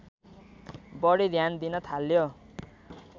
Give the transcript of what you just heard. बढी ध्यान दिन थाल्यो